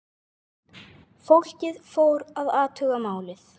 Fólkið fór að athuga málið.